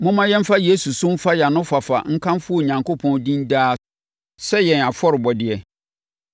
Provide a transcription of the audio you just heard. Momma yɛmfa Yesu so mfa yɛn anofafa nkamfo Onyankopɔn din daa sɛ yɛn afɔrebɔdeɛ.